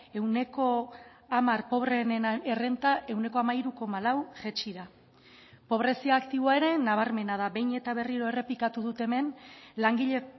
ehuneko hamar pobreenen errenta ehuneko hamairu koma lau jaitsi da pobrezia aktiboa ere nabarmena da behin eta berriro errepikatu dut hemen langile